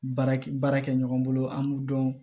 Baarakɛ baara kɛ ɲɔgɔn bolo an b'u dɔn